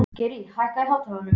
Geirný, hækkaðu í hátalaranum.